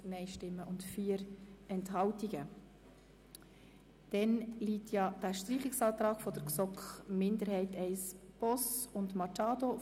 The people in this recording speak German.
Wir kommen zum Streichungsantrag GSoK-Minderheit I/ Boss und Machado.